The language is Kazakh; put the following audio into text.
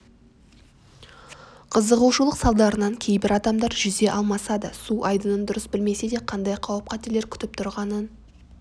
қызығушылық салдарынан кейбір адамдар жүзе алмаса да су айдынын дұрыс білмесе де қандай қауіп-қатерлер күтіп тұрғанын